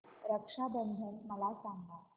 रक्षा बंधन मला सांगा